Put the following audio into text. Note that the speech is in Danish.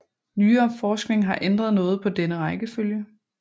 Nyere forskning har ændret noget på denne rækkefølge